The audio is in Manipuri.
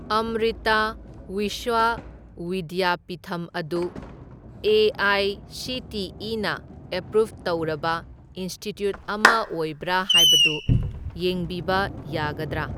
ꯑꯃ꯭ꯔꯤꯇꯥ ꯋꯤꯁ꯭ꯋ ꯋꯤꯗ꯭ꯌꯥꯄꯤꯊꯝ ꯑꯗꯨ ꯑꯦ.ꯑꯥꯏ.ꯁꯤ.ꯇꯤ.ꯏ.ꯅ ꯑꯦꯄ꯭ꯔꯨꯞ ꯇꯧꯔꯕ ꯏꯟꯁꯇꯤꯇ꯭ꯌꯨꯠ ꯑꯃ ꯑꯣꯏꯕ꯭ꯔꯥ ꯍꯥꯏꯕꯗꯨ ꯌꯦꯡꯕꯤꯕ ꯌꯥꯒꯗ꯭ꯔꯥ?